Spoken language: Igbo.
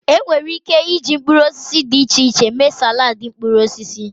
Enwere Ike iji mkpuruosisi di iche iche mee salaadi mkpuruosisi.